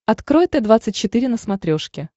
открой т двадцать четыре на смотрешке